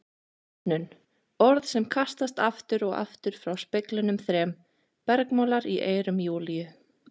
Rotnun, orð sem kastast aftur og aftur frá speglunum þrem, bergmálar í eyrum Júlíu.